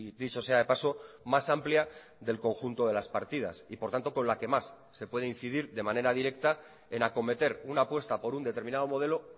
dicho sea de paso más amplia del conjunto de las partidas y por tanto con la que más se puede incidir de manera directa en acometer una apuesta por un determinado modelo